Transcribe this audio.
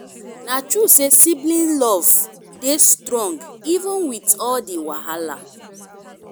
na true sey sibling love dey strong even wit all di wahala.